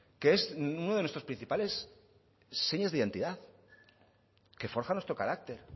que es uno de nuestras principales señas de identidad que forja nuestro carácter